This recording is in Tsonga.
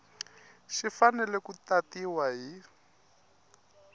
xi fanele ku tatiwa hi